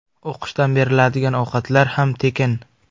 O‘qishdan beriladigan ovqatlar ham tekin.